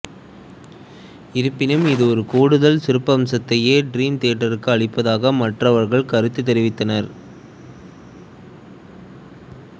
இருப்பினும் இது ஒரு கூடுதல் சிறப்பம்சத்தையே டிரீம் தியேட்ருக்கு அளிப்பதாக மற்றவர்கள் கருத்து தெரிவித்தனர்